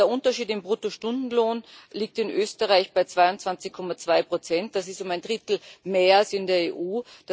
Der Unterschied im Bruttostundenlohn liegt in Österreich bei 22,2 Prozent das ist um ein Drittel mehr als in der EU.